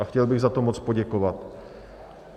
A chtěl bych za to moc poděkovat.